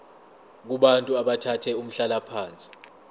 kubantu abathathe umhlalaphansi